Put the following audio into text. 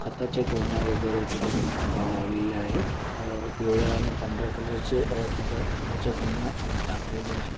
खताचे गोण्या वगैरे तिथ लावलेले आहे अ पिवळ्या आणि पांढर्‍या कलर चे अ-तिथ खताचे गोण्या अ टाकलेल्या आहे.